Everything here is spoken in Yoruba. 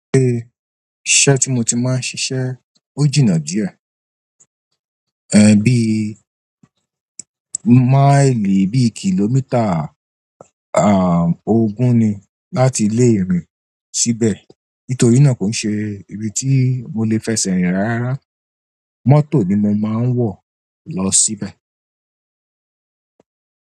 Ile iṣẹ́ tí mo ti máa ń ṣiṣẹ́ ò jìnà díẹ̀. Ẹhn bí máìlì bí kìlómítà à ogún ni láti ilé mi sí ibẹ̀. Nítorí náà kò ń ṣe ibi tí mo le fẹsẹ̀ rìn rárá. Mọ́tò ni mo maa n wo lo síbẹ̀.